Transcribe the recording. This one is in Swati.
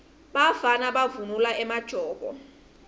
bafana bavunula emajobo